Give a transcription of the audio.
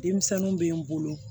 Denmisɛnninw bɛ n bolo